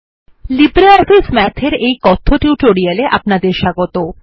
LibreOffice Math এর এই কথ্য টিউটোরিয়ালে আপনাদের স্বাগত